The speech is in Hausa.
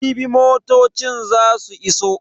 Jibi motocin za su iso.